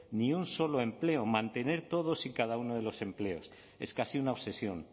ni un solo empleo mantener todos y cada uno de los empleos es casi una obsesión